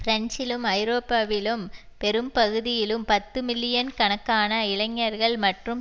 பிரன்சிலும் ஐரோப்பாவிலும் பெரும் பகுதியிலும் பத்து மில்லியன் கணக்கான இளைஞர்கள் மற்றும்